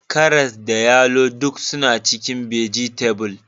Karas da yalo duk suna cikin bajetabul/gayyayyakim